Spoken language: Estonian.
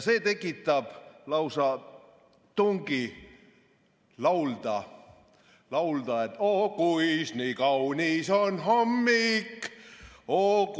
See tekitab lausa tungi laulda: "Oo, kuis nii kaunis on hommik!